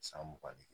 San mugan ni